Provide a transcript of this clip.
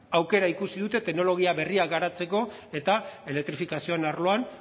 aukera ikusi dute teknologia berria garatzeko eta elektrifikazioen arloan